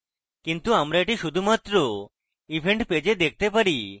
কিন্তু আমরা এটি শুধুমাত্র event page we দেখতে চাই